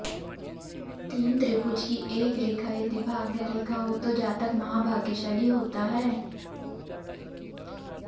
तीन त्रिभुज की एक रेखा यदि भाग्य रेखा हो तो जातक महाभाग्यशाली होता है